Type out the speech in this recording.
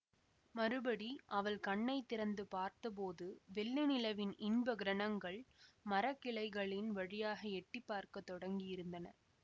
மறுபடி அவள் கண்ணை திறந்து பார்த்தபோது வெள்ளி நிலவின் இன்பக் கிரணங்கள் மரக் கிளைகளின் வழியாக எட்டி பார்க்க தொடங்கியிருந்தன